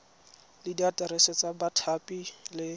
le diaterese tsa bathapi le